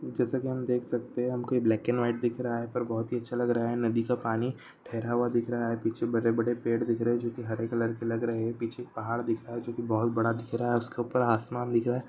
जैसे की हम देख सकते है ब्लैक एंड व्हाइट दिख रहा है पर बहुत ही अच्छा लग रहा है नदी का पानी ठहरा हुआ दिख रहा है पीछे बड़े बड़े पेड दिख रहे है जो की हरे कलर के लग रहे है पीछे पहाड़ दिख रहा है जो की बहुत बड़ा दिख रहा है उसके ऊपर आसमान दिख रहा है।